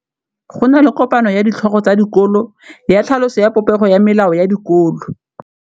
Go na le kopanô ya ditlhogo tsa dikolo ya tlhaloso ya popêgô ya melao ya dikolo.